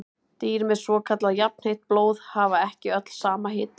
Dýr með svokallað jafnheitt blóð hafa ekki öll sama hita.